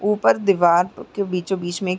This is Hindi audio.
ऊपर दीवार के बीचो -बीच में एक --